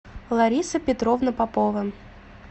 лариса петровна попова